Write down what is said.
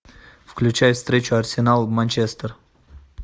включай встречу арсенал манчестер